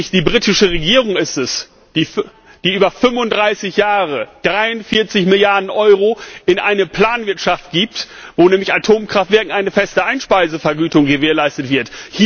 Die britische Regierung ist es nämlich, die über 35 Jahre 43 Milliarden Euro in eine Planwirtschaft gibt, wo mit Atomkraftwerken eine feste Einspeisevergütung gewährleistet wird.